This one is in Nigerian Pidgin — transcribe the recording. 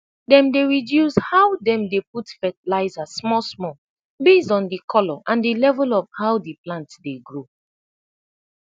dem dey reduce how dem dey put fertilizer smalsmal base on d colo and de level of how de plant dey grow